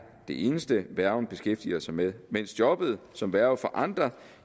det eneste værgen beskæftiger sig med mens jobbet som værge for andre